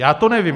Já to nevím.